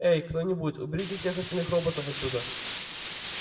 эй кто-нибудь уберите всех остальных роботов отсюда